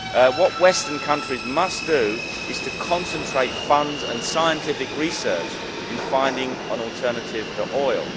What western countries must do is concentrate funds and scientific research to find an alternative to oil.